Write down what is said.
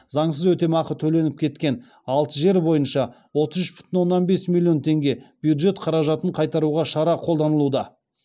заңсыз өтемақы төленіп кеткен алты жер бойынша отыз үш бүтін оннан бес миллион теңге бюджет қаражатын қайтаруға шара қолданылуда